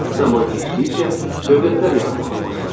Zaman keçdikcə dövlətlər yaranmağa başladı.